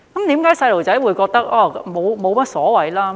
為何小朋友會覺得沒有所謂呢？